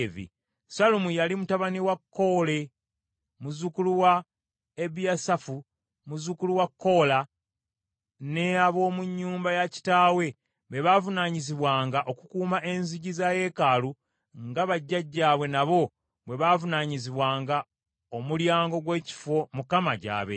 Sallumu yali mutabani wa Koole, muzzukulu wa Ebiyasaafu, muzzukulu wa Koola, ne ab’omu nnyumba ya kitaawe be baavunaanyizibwanga okukuuma enzigi za yeekaalu nga bajjajjaabwe nabo bwe baavunaanyizibwanga omulyango gw’ekifo Mukama gy’abeera.